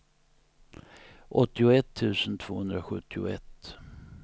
åttioett tusen tvåhundrasjuttioett